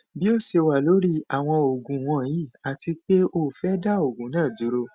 bi o ṣe wa lori awọn oogun wọnyi ati pe o fẹ da oogun naa duro